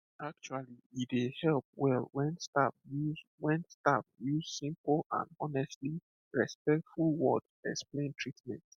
actually e dey help well when staff use when staff use simple and honestly respectful words explain treatment